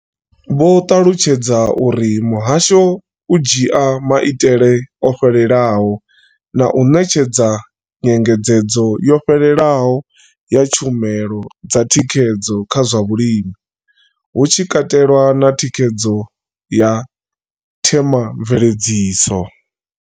Vho ṱalutshedza uri muhasho u dzhia maitele o fhelelaho na u ṋetshedza nyengedzedzo yo fhelelaho ya tshumelo dza thikhedzo kha zwa vhulimi, hu tshi katelwa na thikhedzo ya themamveledziso.